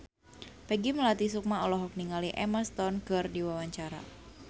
Peggy Melati Sukma olohok ningali Emma Stone keur diwawancara